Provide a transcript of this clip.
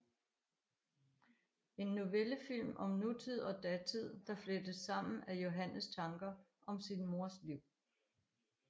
En novellefilm om nutid og datid der flettes sammen af Johannes tanker om sin mors liv